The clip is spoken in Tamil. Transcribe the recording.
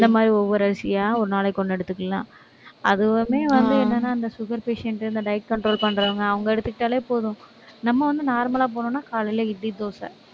இந்த மாதிரி ஒவ்வொரு அரிசியா, ஒரு நாளைக்கு ஒண்ணு எடுத்துக்கலாம். அதுவுமே வந்து என்னன்னா, இந்த sugar patient இந்த diet control பண்றவங்க, அவங்க எடுத்துக்கிட்டாலே போதும். நம்ம வந்து normal லா போனோம்னா, காலையில இட்லி, தோசை